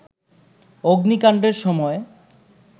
অগ্নিকাণ্ডের সময়